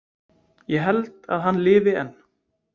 Ég held að hann lifi enn.